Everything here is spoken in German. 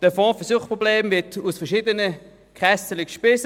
Der Fonds für Suchtprobleme wird aus verschiedenen Kassen gespeist: